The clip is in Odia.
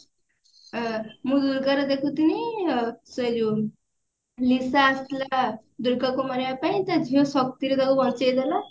ଅ ମୁଁ ତାର ଦେଖୁଥିନି ଅ ସେଇ ଯଉ ନିସା ଆସିଥିଲା ଦୂର୍ଗାକୁ ମାରିବା ପାଇଁ ତା ଝିଅ ଶକ୍ତି ରେ ତାକୁ ବଞ୍ଚେଇଦେଲା